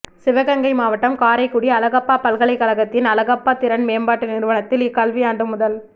சிவகங்கை மாவட்டம் காரைக்குடி அழகப்பா பல்கலைக்கழகத்தின் அழகப்பா திறன் மேம்பாட்டு நிறுவனத்தில் இக்கல்வியாண்டு முதல்